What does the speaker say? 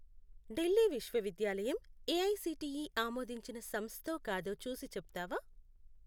ఢిల్లీ విశ్వవిద్యాలయం ఏఐసిటిఈ ఆమోదించిన సంస్థో కాదో చూసి చెప్తావా?